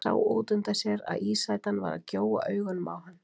Sá útundan sér að ísætan var að gjóa augunum á hann.